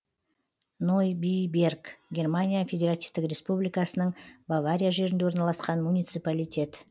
нойбиберг германия федеративтік республикасының бавария жерінде орналасқан муниципалитет